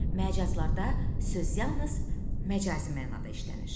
Məcazlarda söz yalnız məcazi mənada işlənir.